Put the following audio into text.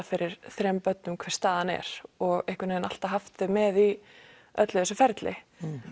fyrir þremur börnum hver staðan er og einhvern veginn alltaf haft þau með í öllu þessu ferli